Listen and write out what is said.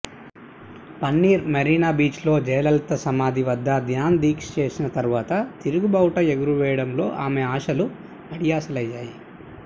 పన్నీర్ మెరీనా బీచ్లో జయలలిత సమాధి వద్ద ధ్యాన దీక్ష చేసిన తర్వాత తిరుగుబావుటా ఎగురేయడంతో ఆమె ఆశలు అడియాసలయ్యాయి